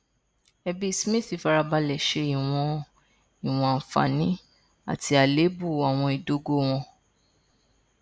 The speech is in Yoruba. ẹbí smith farabalẹ ṣe ìwọn ìwọn àǹfààní àti àléébù àwọn ìdógò wọn